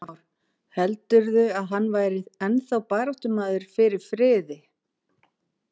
Heimir Már: Heldurðu að hann væri ennþá baráttumaður fyrir friði?